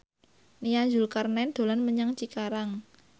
Nia Zulkarnaen dolan menyang Cikarang